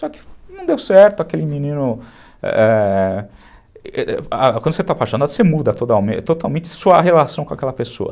Só que não deu certo aquele menino...é... Quando você está apaixonado, você muda totalmente sua relação com aquela pessoa.